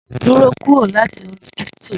Duro kuro lati kírípítò!